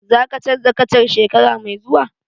Za ka canza kacan shekara mai zuwa?